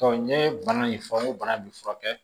n ye bana in fɔ n ko bana bi furakɛ